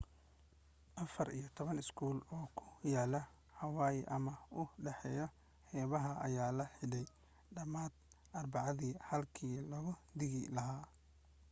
afar iyo toban iskool oo ku yaala hawaii ama u dhaw xeebaha ayaa la xidhay dhamaantood arbacadii halkii looga digi lahaa